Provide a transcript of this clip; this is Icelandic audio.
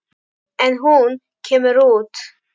En hún kemur út.